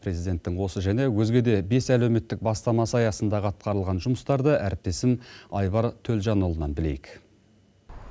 президенттің осы және өзге де бес әлеуметтік бастамасы аясындағы атқарылған жұмыстарды әріптесім айбар төлжанұлынан білейік